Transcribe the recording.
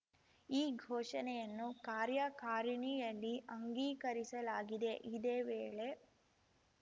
ಈ ಘೋಷಣೆಯನ್ನು ಕಾರ್ಯಕಾರಿಣಿಯಲ್ಲಿ ಅಂಗೀಕರಿಸಲಾಗಿದೆ ಇದೇ ವೇಳೆ